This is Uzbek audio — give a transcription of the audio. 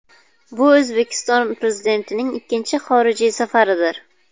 Bu O‘zbekiston Prezidentining ikkinchi xorij safaridir.